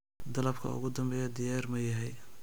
Dalabka ugu dambeeya diyaar ma yahay?